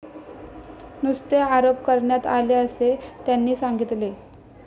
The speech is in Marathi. नुसते आरोप करण्यात आले असे त्यांनी सांगितले.